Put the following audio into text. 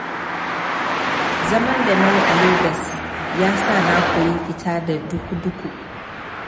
Zaman da nayi a Legas ya sa na koyi fita da duku-duku.